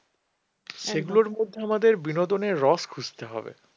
মধ্যে আমাদের বিনোদনের রস খুঁজতে হবে।